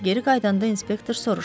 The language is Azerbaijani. Geri qayıdanda inspektor soruşdu.